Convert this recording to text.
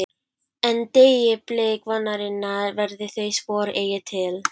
En- deyi blik vonarinnar verða þau spor eigi til.